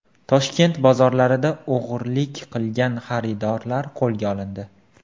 Toshkent bozorlarida o‘g‘rilik qilgan xaridorlar qo‘lga olindi.